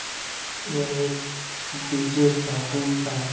यह एक DJ sound का --